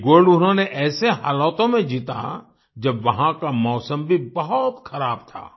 ये गोल्ड उन्होंने ऐसे हालातों में जीता जब वहाँ का मौसम भी बहुत ख़राब था